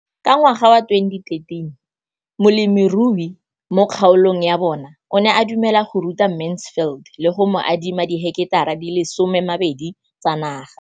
Ka ngwaga wa 2013, molemirui mo kgaolong ya bona o ne a dumela go ruta Mansfield le go mo adima di heketara di le 12 tsa naga.